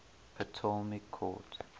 ptolemaic court